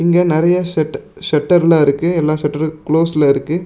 இங்க நறையா செட் செட்டர்லாம் இருக்கு எல்லா செட்டரும் க்ளோஸ்ல இருக்கு.